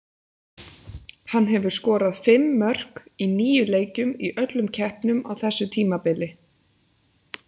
Hann hefur skorað fimm mörk í níu leikjum í öllum keppnum á þessu tímabili.